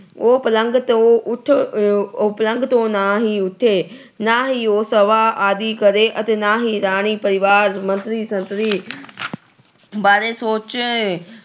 ਉਹ ਪਲੰਘ ਤੋਂ ਉਠ ਅਹ ਉਹ ਪਲੰਘ ਤੋਂ ਨਾ ਹੀ ਉਠੇ। ਨਾ ਹੀ ਉਹ ਸਭਾ ਆਦਿ ਕਰੇ ਅਤੇ ਨਾ ਹੀ ਰਾਣੀ, ਪਰਿਵਾਰ, ਮੰਤਰੀ-ਸੰਤਰੀ ਬਾਰੇ ਸੋਚੇ